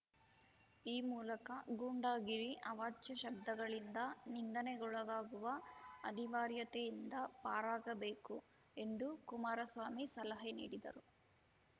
ಈ ಮೂಲಕ ಗೂಂಡಾಗಿರಿ ಅವಾಚ್ಯ ಶಬ್ದಗಳಿಂದ ನಿಂದನೆಗೊಳಗಾಗುವ ಅನಿವಾರ್ಯತೆಯಿಂದ ಪಾರಾಗಬೇಕು ಎಂದು ಕುಮಾರಸ್ವಾಮಿ ಸಲಹೆ ನೀಡಿದರು